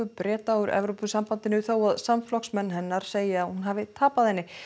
Breta úr Evrópusambandinu þótt samflokksmenn hennar segi að hún hafi tapað henni